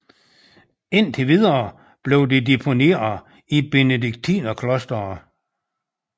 Indtil videre blev de deponeret i Benediktinerklosteret